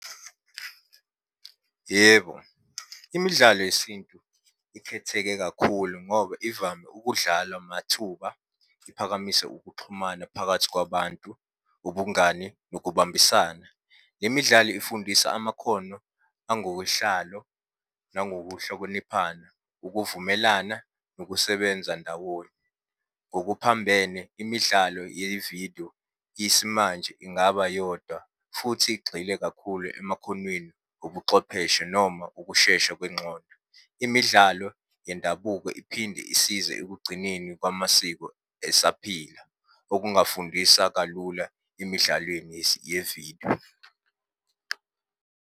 Yebo, imidlalo yesintu ikhetheke kakhulu ngoba ivame ukudlalwa mathuba, iphakamise ukuxhumana phakathi kwabantu, ubungani nokubambisana. Le midlalo ifundisa amakhono angowohlalo nangokuhlokoniphana, ukuvumelana nokusebenza ndawonye. Ngokuphambene, imidlalo yevidiyo yesimanje ingaba yodwa, futhi igxile kakhulu emakhonweni. obuxwepheshe noma ukushesha kwenxola. Imidlalo yendabuko iphinde isize ekugcineni kwamasiko esaphila, okungafundisa kalula emidlalweni yevidiyo.